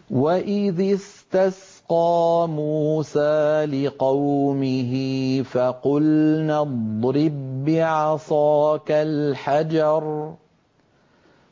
۞ وَإِذِ اسْتَسْقَىٰ مُوسَىٰ لِقَوْمِهِ فَقُلْنَا اضْرِب بِّعَصَاكَ الْحَجَرَ ۖ